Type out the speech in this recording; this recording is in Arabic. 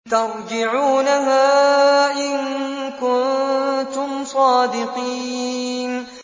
تَرْجِعُونَهَا إِن كُنتُمْ صَادِقِينَ